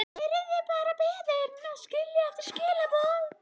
Yrði bara beðin að skilja eftir skilaboð.